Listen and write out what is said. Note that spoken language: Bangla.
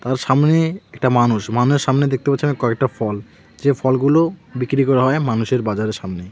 তার সামনে একটা মানুষ মানুষের সামনে দেখতে পাচ্ছি আমি কয়েকটা ফল যে ফলগুলো বিক্রি করা হয় মানুষের বাজারের সামনে.